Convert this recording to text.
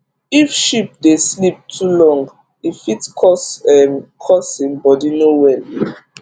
if sheep dey sleep to long e fit cause um make him body no well